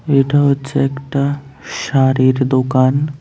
এটা হচ্ছে একটা শাড়ির দোকান।